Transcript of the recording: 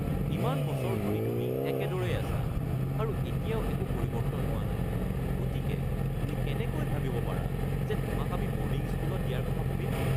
ইমান বছৰ ধৰি তুমি একেদৰেই আছা আৰু এতিয়াও একো পৰিৱৰ্তন হোৱা নাই, গতিকে তুমি কেনেকৈ ভাবিব পাৰা যে তোমাক আমি বৰ্ডিং স্কুলত দিয়াৰ কথা ভাবিম?(মা)